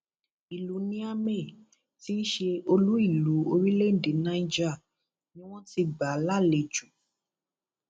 ìlú niamey tí í ṣe olúìlú orílẹèdè niger ni wọn ti gbà á lálejò